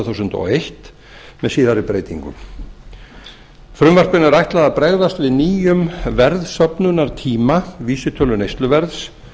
þúsund og eitt með síðari breytingum frumvarpinu er ætlað að bregðast við nýjum verðsöfnunartíma vísitölu neysluverðs